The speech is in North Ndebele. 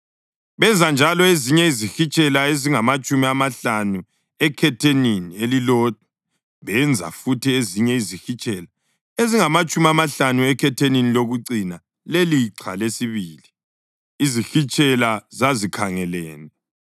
Benza njalo ezinye izihitshela ezingamatshumi amahlanu ekhethenini elilodwa, benza futhi ezinye izihitshela ezingamatshumi amahlanu ekhethenini lokucina lelixha lesibili, izihitshela zazikhangelene.